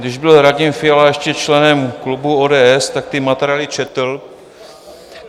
Když byl Radim Fiala ještě členem klubu ODS, tak ty materiály četl.